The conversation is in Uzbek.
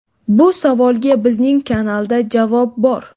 Bu savolga bizning kanalda javob bor.